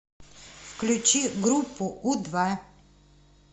включи группу у два